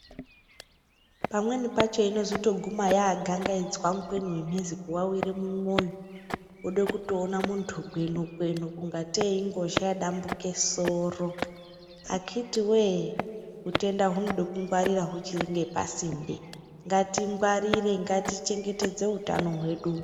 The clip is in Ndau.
Pamweni pacho inozotoguma yagangaidzwa mukweni wemhezi kuwawire mumwoyo ode kutoona muntu gwenukwenu kungatei ingozha yabambuke soro akitiwoye utenda hunode kungwarira huchiringe pasinde ngatingwarire ngatichengetedze hutano hwedu.